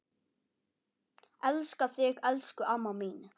Elska þig elsku amma mín.